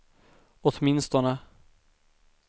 åtminstone